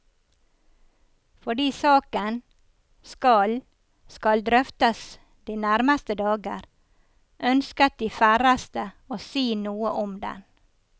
Fordi saken skal skal drøftes de nærmeste dager, ønsket de færreste å si noe om den.